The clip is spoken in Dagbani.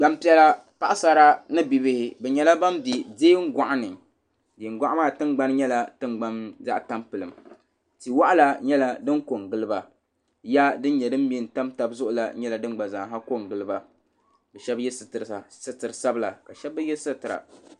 Gbaŋ piɛlla paɣisara ni bi bihi bi yɛla bani bɛ diɛn gɔɣu ni diɛn gɔɣu maa tiŋgbani yɛla tiŋgbani zaɣi tampilim tihi wɔɣila yɛli dini ko n gili ba ya sini yɛ din mɛ n tam taba zuɣu la yɛla dini gba zaa ha ko n gili ba bi shɛba yiɛ sitiri sabila ka shɛba mi bi yiɛ.